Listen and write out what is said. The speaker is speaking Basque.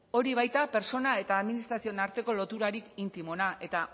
hori baita pertsona eta administrazioen arteko loturarik intimoena